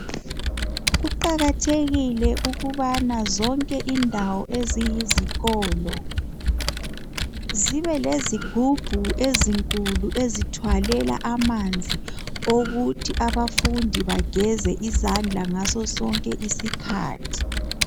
Kuqakathekile ukubana zonke indawo eziyizikolo zibe lezigubhu ezinkulu ezithwalela amanzi okuthi abafundi bageze izandla ngaso sonke isikhathi.